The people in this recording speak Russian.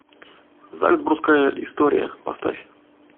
зальцбургская история поставь